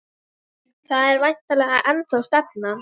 Það er væntanlega ennþá stefnan?